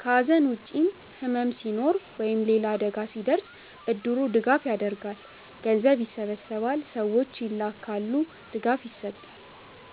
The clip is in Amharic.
ከሐዘን ውጭም ሕመም ሲኖር ወይም ሌላ አደጋ ሲደርስ እድሩ ድጋፍ ያደርጋል። ገንዘብ ይሰበሰባል፣ ሰዎች ይላካሉ፣ ድጋፍ ይሰጣል።